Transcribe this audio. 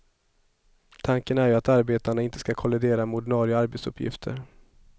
Tanken är ju att arbetena inte skall kollidera med ordinarie arbetsuppgifter.